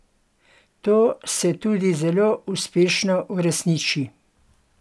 To se tudi zelo uspešno uresniči.